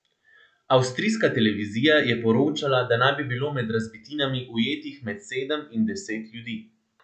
Avstrijska televizija je poročala, da naj bi bilo med razbitinami ujetih med sedem in deset ljudi.